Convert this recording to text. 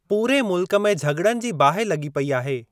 पूरे मुल्क में झग॒ड़नि जी बाहि लॻी पेई आहे।